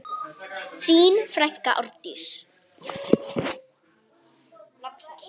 Þín frænka Árdís.